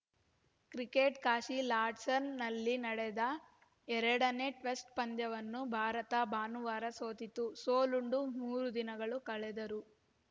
cricket Kashi ಲಾರ್ಡ್ಸ್ನಲ್ಲಿ ನಡೆದ ಎರಡನೇ ಟೆಸ್ಟ್‌ ಪಂದ್ಯವನ್ನು ಭಾರತ ಭಾನುವಾರ ಸೋತಿತ್ತು ಸೋಲುಂಡು ಮೂರು ದಿನ ಕಳೆದರೂ